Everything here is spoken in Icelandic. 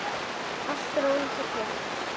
Allt rólegt og hljótt.